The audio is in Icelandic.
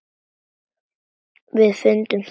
Við fundum það öll.